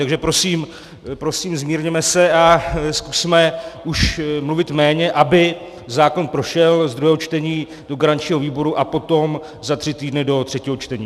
Takže prosím, zmírněme se a zkusme už mluvit méně, aby zákon prošel z druhého čtení do garančního výboru a potom za tři týdny do třetího čtení.